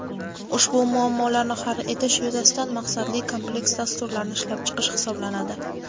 ushbu muammolarni hal etish yuzasidan maqsadli kompleks dasturlarni ishlab chiqish hisoblanadi.